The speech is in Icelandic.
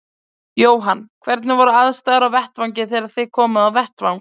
Jóhann: Hvernig voru aðstæður á vettvangi þegar þið komuð á vettvang?